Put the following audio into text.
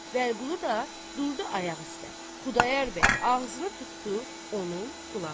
Vəliqulu da durdu ayaq üstə, Xudayar bəy ağzını tutdu onun qulağına.